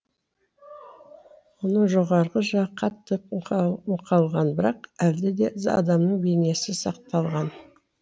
оның жоғарғы жағы қатты мұқалған бірақ әлде де адамның бейнесі сақталған